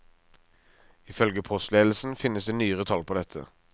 Ifølge postledelsen finnes det ikke nyere tall på dette.